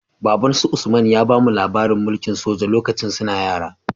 Babbansu usman ya bamu labarin mulki soja lokacin suna yara